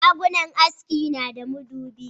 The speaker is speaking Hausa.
Shagunnan haski na da madubi